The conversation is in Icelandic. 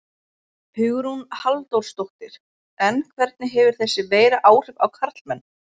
Hugrún Halldórsdóttir: En hvernig hefur þessi veira áhrif á karlmenn?